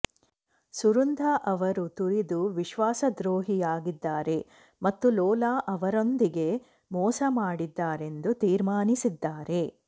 ಸುರುಂಧಾ ಅವರು ತುರಿದು ವಿಶ್ವಾಸದ್ರೋಹಿಯಾಗಿದ್ದಾರೆ ಮತ್ತು ಲೋಲಾ ಅವರೊಂದಿಗೆ ಮೋಸ ಮಾಡಿದ್ದಾರೆಂದು ತೀರ್ಮಾನಿಸಿದ್ದಾರೆ